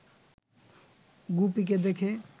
গুপিকে দেখে